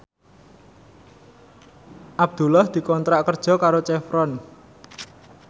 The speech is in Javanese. Abdullah dikontrak kerja karo Chevron